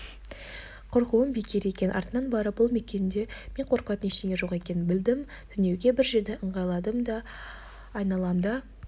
қорқуым бекер екен артынан барып бұл мекенде мен қорқатын ештеңенің жоқ екенін білдім түнеуге бір жерді ыңғайладым да айналамды